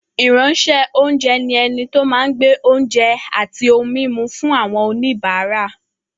Ìránṣẹ́-oúnjẹ ni ẹni tó máa ń gbé oúnjẹ àti ohun-mímu fún àwọn oníbàárà.